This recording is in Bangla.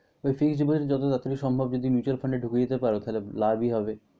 হয়েছে কি যত তাড়াতাড়ি সম্ভব যদি mutual fund এ ঢুকিয়ে দিতে পার তাহলে লাভই হবে।